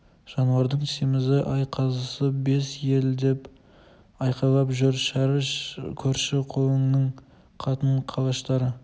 жануардың семізі-ай қазысы бес елі деп айқайлап жүр шәріп көрші-қолаңның қатын-қалаштары